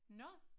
Nåh